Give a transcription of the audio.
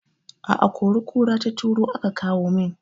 A kori kura ta turo aka kawo min